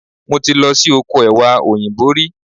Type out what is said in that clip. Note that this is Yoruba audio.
Mo ti lọ sí oko Ẹ̀wà Òyìnbó rí.